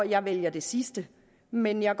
jeg vælger det sidste men jeg